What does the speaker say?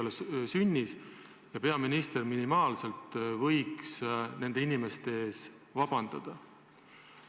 See ei ole sünnis ja peaminister võiks vähemalt nende sõimatavate inimeste ees vabandada.